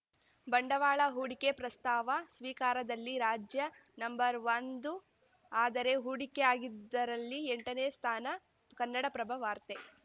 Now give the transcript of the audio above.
ಬಂಡವಾಳ ಹೂಡಿಕೆ ಪ್ರಸ್ತಾವ ಸ್ವೀಕಾರದಲ್ಲಿ ರಾಜ್ಯ ನಂಒಂದು ಆದರೆ ಹೂಡಿಕೆ ಆಗಿದ್ದರಲ್ಲಿ ಎಂಟನೇ ಸ್ಥಾನ ಕನ್ನಡಪ್ರಭ ವಾರ್ತೆ